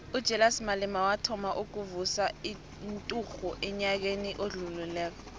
ujulias malema wathoma ukuvusa inturhu enyakeni odlulileko